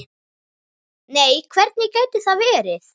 Nei hvernig gæti það verið?